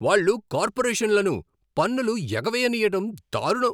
వాళ్ళు కార్పొరేషన్లను పన్నులు ఎగవేయనీయడం దారుణం.